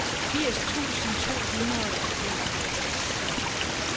firs tusind to hundrede og femoghalvtreds